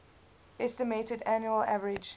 estimated annual average